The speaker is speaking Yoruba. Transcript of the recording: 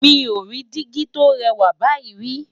mí ọ rí digi tó rè wà báyìí ri